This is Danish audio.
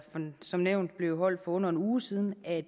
som nævnt blev holdt for under en uge siden at